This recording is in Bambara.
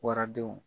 Waradenw